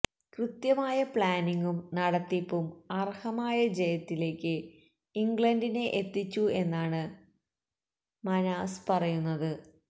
കൃത്യമായ പ്ലാനിംഗും നടത്തിപ്പും അര്ഹമായ ജയത്തിലേക്ക് ഇംഗ്ലണ്ടിനെ എത്തിച്ചു എന്നാണ് മന്ഹാസ് പറയുന്നത്